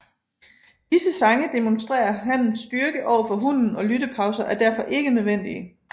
Disse sange demonstrerer hannens styrke overfor hunnen og lyttepauser er derfor ikke nødvendige